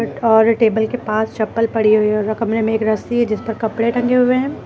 और टेबल के पास चप्पल पड़ी हुई है और र कमरे में एक रस्सी है जिसपर कपड़े टंगे हुए हैं।